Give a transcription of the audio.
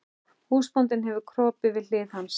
Húsbóndinn hefur kropið við hlið hans.